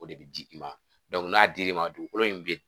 O de bɛ di i ma n'a dir'i ma dugukolo in bɛ